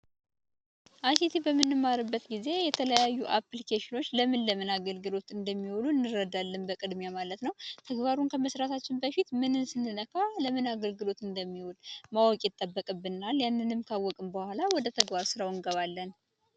አይሲቲ በምንማርበት ጊዜ የተለያዩ አፕልኬሽኖች ለምን ለምን አገልግሎት እንደሚውሉ እንረዳለን በቅድሚያ ማለት ነው ተግባሩን ከመስራታችን በፊት ምንን ስንነካ ለምን አገልግሎት እንደሚውል ማወቅ ይጠበቅብናል ያንንም ካወቅን በኋላ ወደ ተግባር ስራው እንገባለን።